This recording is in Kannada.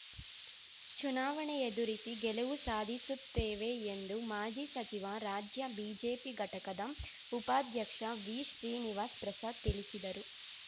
ಚುನಾವಣೆ ಎದುರಿಸಿ ಗೆಲುವು ಸಾಧಿಸುತ್ತೇವೆ ಎಂದು ಮಾಜಿ ಸಚಿವ ರಾಜ್ಯ ಬಿಜೆಪಿ ಘಟಕದ ಉಪಾಧ್ಯಕ್ಷ ವಿಶ್ರೀನಿವಾಸ್ ಪ್ರಸಾದ್ ತಿಳಿಸಿದರು